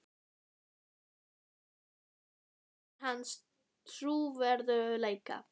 Hvernig dregur þetta úr hans trúverðugleika?